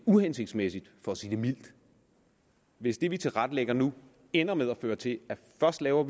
uhensigtsmæssigt for at sige det mildt hvis det vi tilrettelægger nu ender med at føre til at vi først laver